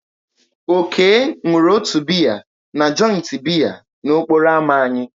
Oke nụrụ ụtọ biya na joịtị biya n'okporo ámá anyị.